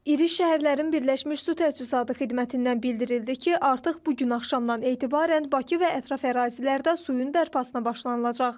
İri şəhərlərin birləşmiş su təchizatı xidmətindən bildirildi ki, artıq bu gün axşamdan etibarən Bakı və ətraf ərazilərdə suyun bərpasına başlanılacaq.